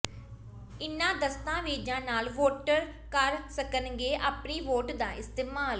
ਇਨ੍ਹਾਂ ਦਸਤਾਵੇਜ਼ਾਂ ਨਾਲ ਵੋਟਰ ਕਰ ਸਕਣਗੇ ਆਪਣੀ ਵੋਟ ਦਾ ਇਸਤੇਮਾਲ